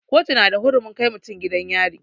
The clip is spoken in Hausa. Kotu na da hurumin kai mutum gidan yari.